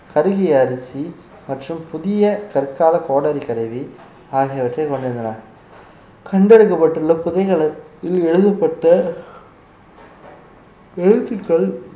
கருகிய அரிசி மற்றும் புதிய கற்கால கோடாரி கருவி ஆகியவற்றை கொண்டிருந்தன கண்டெடுக்கப்பட்டுள்ள புதைகலத்தில் எழுதப்பட்ட எழுத்துக்கள்